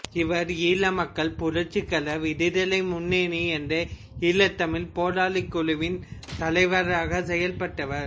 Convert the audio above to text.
இவர் ஈழமக்கள் புரட்சிகர விடுதலை முன்னணி என்ற ஈழத்தமிழ்ப் போராளிக் குழுவின் தலைவராகச் செயல்பட்டவர்